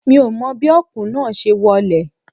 Mi ò mọ bí Ọ̀kùn náà ṣe wọlé